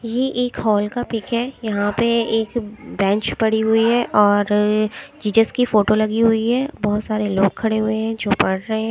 ये एक हॉल का पिक है यहां पे एक बैंच पड़ी हुई हैं और जीजस की फोटो लगी हुई है बहोत सारे लोग खड़े हुए हैं जो पढ़ रहे हैं।